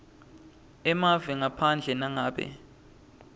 emave ngaphandle nangabe